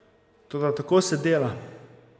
Toda tako se dela.